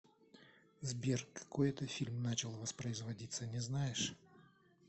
сбер какой это фильм начал воспроизводиться не знаешь